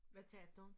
Hvad tabte hun